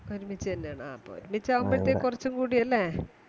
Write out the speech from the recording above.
ഒരുമിച്ചെന്നെയാണ ആ അപ്പൊ ഒരുമിച്ചതുമ്പഴത്തെക്ക് കുറച്ചും കൂടിയല്ലേ